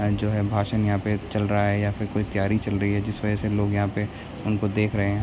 यहाँ जो है भाषण यहाँ पे चल रहा है या फिर कोई त्यारी चल रही है जिस वजह से लोग यहाँ पे उनको देख रहे है।